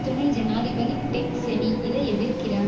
துணை ஜனாதிபதி Dick Cheney இதை எதிர்க்கிறார்